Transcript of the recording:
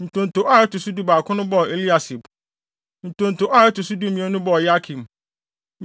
Ntonto a ɛto so dubaako no bɔɔ Eliasib. Ntonto a ɛto so dumien no bɔɔ Yakim.